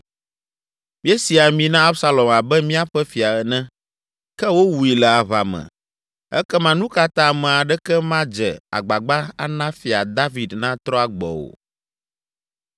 Míesi ami na Absalom abe míaƒe fia ene, ke wowui le aʋa me. Ekema nu ka ta ame aɖeke madze agbagba ana Fia David natrɔ agbɔ o?”